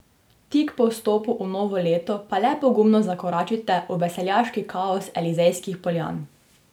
Tik po vstopu v novo leto pa le pogumno zakoračite v veseljaški kaos Elizejskih poljan.